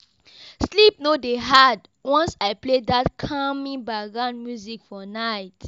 Sleep no dey hard once I play that calming background music for night.